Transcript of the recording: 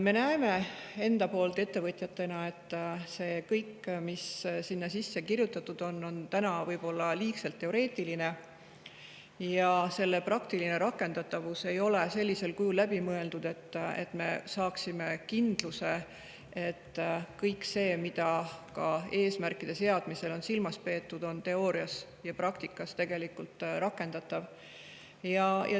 Me näeme ettevõtjatena, et see kõik, mis sinna kirjutatud on, on võib-olla liigselt teoreetiline ja selle praktiline rakendatavus ei ole läbi mõeldud sellisel kujul, et me saaksime kindluse, et see, mida eesmärkide seadmisel on silmas peetud, on teoorias ja praktikas tegelikult rakendatav.